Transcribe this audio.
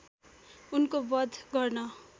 उनको वध गर्न